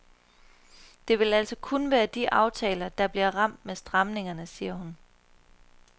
Det vil altså kun være de aftaler, der bliver ramt med stramningerne, siger hun.